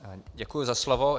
Děkuji za slovo.